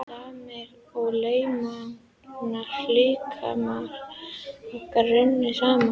Stamir og lémagna líkamir okkar runnu saman.